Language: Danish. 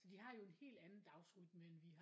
Så de har jo en helt anden dagsrytme end vi har